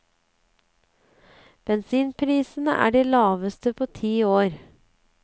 Bensinprisene er de laveste på ti år.